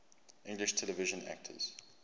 english television actors